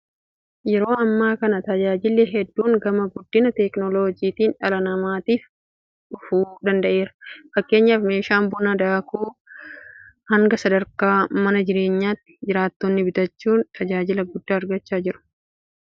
Yeroo ammaa kana tajaajilli hedduun gama guddina teekinooloojiitiin dhala namaatiif dhufuu danda'eera. Fakkeenyaaf meeshaan buna daaku hanga sadarkaa mana jireenyaatti jiraattonni bitachuudhaan tajaajila guddaa argachaa jiru. Buna tumanii dhuguun humna namaafi yeroo dheeraa fudhachaa kan ture yeroo ta'u; Amma garuu kun furamuu danda'eera.